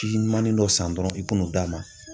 ɲumannin dɔ san dɔrɔn i ka n'o d'a ma.